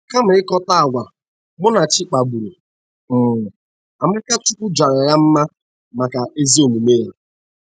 Kama ịkatọ àgwà Munachi kpaburu um, Amakachukwu jara ya mma maka ezi omume ya.